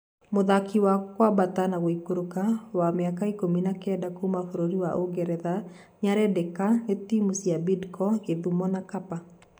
Mũthaki wa kwambata na guikũrũka wa miaka ikumi na kenda kuuma bũrũri wa ũngeretha niarendeka ni timu cia Bidco, Gĩthumo na Kapa .